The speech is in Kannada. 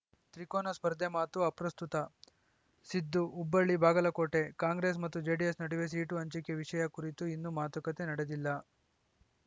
ತ್ರಿಕೋನ ಸ್ಪರ್ಧೆ ಮಾತು ಅಪ್ರಸ್ತುತ ಸಿದ್ದು ಹುಬ್ಬಳ್ಳಿಬಾಗಲಕೋಟೆ ಕಾಂಗ್ರೆಸ್‌ ಮತ್ತು ಜೆಡಿಎಸ್‌ ನಡುವೆ ಸೀಟು ಹಂಚಿಕೆ ವಿಷಯ ಕುರಿತು ಇನ್ನೂ ಮಾತುಕತೆ ನಡೆದಿಲ್ಲ